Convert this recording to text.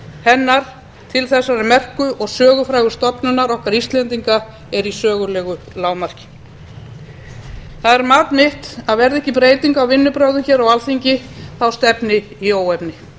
hennar til þessarar merku og sögufrægu stofnunar okkar íslendinga er í sögulegu lágmarki það er mat mitt að verði ekki breyting á vinnubrögðum á alþingi stefni í óefni